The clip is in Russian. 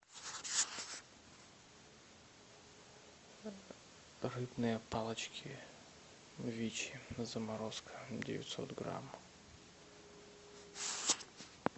рыбные палочки вичи заморозка девятьсот грамм